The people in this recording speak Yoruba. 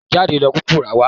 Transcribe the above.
Jídé ló kúkú rà á wá.